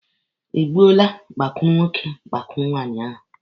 Ị gbuole gbakụrụ nwoke gbakụrụ nwaanyị ahụ?